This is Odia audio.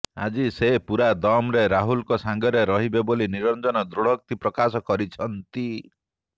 ଆଜି ସେ ପୂରା ଦମରେ ରାହୁଲଙ୍କ ସାଙ୍ଗରେ ରହିବେ ବୋଲି ନିରଞ୍ଜନ ଦୃଢ଼ୋକ୍ତି ପ୍ରକାଶ କରିଛନ୍ତି